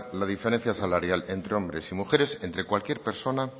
la diferencia salarial entre hombres y mujeres entre cualquier persona